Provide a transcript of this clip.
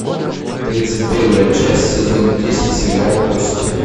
тридцать первая часть сезон десять сериал кости